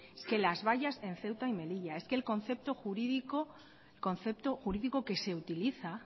es que las vallas en ceuta y melilla es que el concepto jurídico que se utiliza